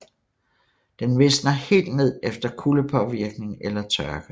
Den visner helt ned efter kuldepåvirkning eller tørke